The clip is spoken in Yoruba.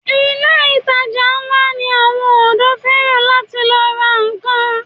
Ilé ìtajà ńlá ni àwọn ọ̀dọ́ fẹ́ràn láti lọ ra nnkan.